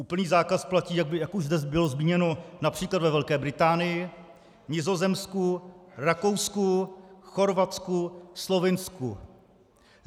Úplný zákaz platí, jak už zde bylo zmíněno, například ve Velké Británii, Nizozemsku, Rakousku, Chorvatsku, Slovinsku.